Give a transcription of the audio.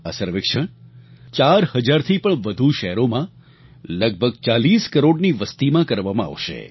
આ સર્વેક્ષણ ચાર હજારથી પણ વધુ શહેરોમાં લગભગ 40 કરોડની વસ્તીમાં કરવામાં આવશે